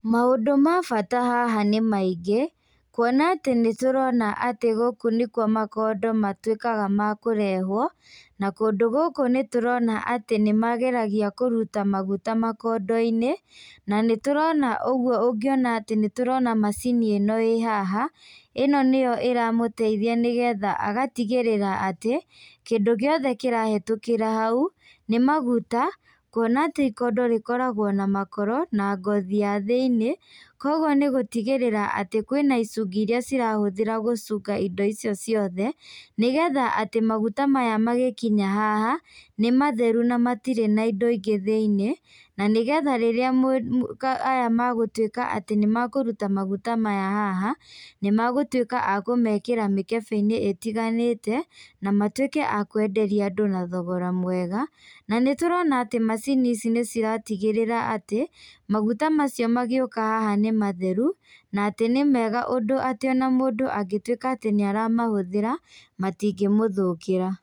Maũndũ ma bata haha nĩmaingĩ, kuona atĩ nĩ tũrona atĩ gũkũ nĩ kuo makondo matuĩkaga ma kũrehwo, na kũndũ gũkũ nĩtũrona atĩ nĩ mageragia kũruta maguta makondoinĩ, na nĩtũrona ũguo ũngĩona atĩ nĩtũrona macini ĩno ĩ haha, ĩno nĩyo ĩramũteithia nĩgetha agatigĩrĩra atĩ, kĩndũ giothe kĩrahetũkĩra hau, nĩmaguta, kuona atĩ ikondo rĩkoragwo na makoro, na ngothi ya thĩinĩ, koguo nĩgũtigĩrĩra atĩ kwĩna icungĩ iria cirahũthĩra gũcunga indo icio ciothe, nĩgetha atĩ maguta maya magĩkinya haha, nĩmatheru na matirĩ na indo ingĩ thĩinĩ, na nĩgetha rĩrĩa mũ aya magatuĩka atĩ nĩmakũruta maguta maya haha, nĩmagũtuĩka a kũmekĩra mĩkebeinĩ ĩtiganĩte, namatuĩke a kwenderia andũ na thogora mwega, na nĩtũrona atĩ macini ici nĩciratigĩrĩra atĩ, maguta macio magĩũka haha nĩmatheru, na atĩ nĩmega ũndũ atĩ ona mũndũ angĩtuĩka atĩ nĩaramahũthĩra, matingĩmũthũkĩra.